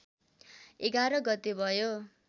११ गते भयो